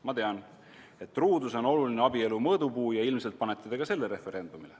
Ma tean, et truudus on oluline abielu mõõdupuu ja ilmselt panete te ka selle referendumile.